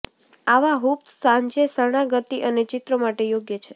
આવા હૂપ્સ સાંજે શરણાગતિ અને ચિત્રો માટે યોગ્ય છે